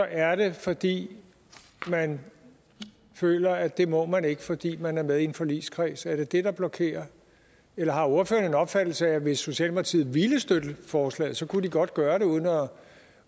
er det fordi man føler at det må man ikke fordi man er med i en forligskreds er det det der blokerer eller har ordføreren en opfattelse af at hvis socialdemokratiet ville støtte forslaget kunne de godt gøre det uden at om